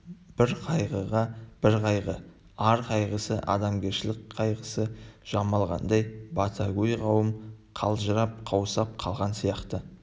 бір қайғыға тағы бір қайғы ар қайғысы адамгершілік қайғысы жамалғандай батагөй қауым қалжырап қаусап қалған сияқты